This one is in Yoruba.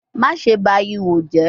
Maṣe ba iho jẹ